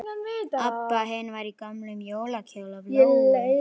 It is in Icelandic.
Abba hin var í gömlum jólakjól af Lóu-Lóu.